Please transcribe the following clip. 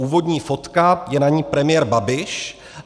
Úvodní fotka - je na ní premiér Babiš.